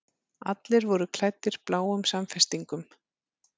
Allir voru klæddir bláum samfestingum.